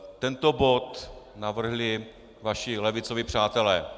Tento bod navrhli vaši levicoví přátelé.